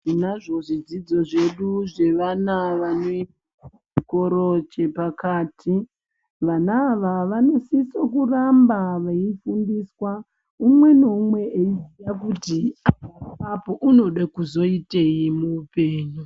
Tinazvo zvidzidzo zvedu zvevana vane chikoro chepakati vana ava vanosisa kuramba veifundiswa umwe naumwe eidzidza kuti unode kuzoitei muupenyu.